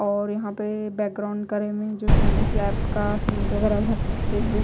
और यहां पे बैकग्राउंड का रीमिंग जो इसके अन्दर स्लेप्ट का सीमेंट वगैरा भर सकते हैं।